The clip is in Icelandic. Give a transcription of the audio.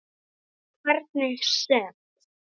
En hvernig sem